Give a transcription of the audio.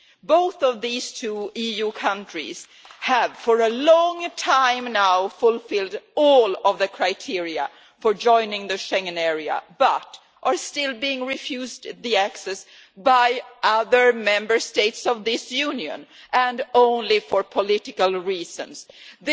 Both of these EU countries have for a long time now fulfilled all the criteria for joining the Schengen area but are still being refused access by other Member States of this Union, and for political reasons alone.